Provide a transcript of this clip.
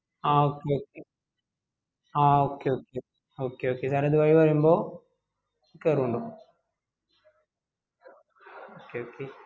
ആ okay ആ okay okay okay okay sir ഇത് വഴി വരുമ്പോ കേറുനിണ്ടോ okay okay